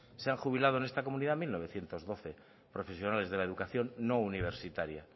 se ha jubilado en esta comunidad mil novecientos doce profesionales de la educación no universitaria